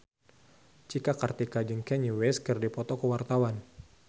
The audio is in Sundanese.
Cika Kartika jeung Kanye West keur dipoto ku wartawan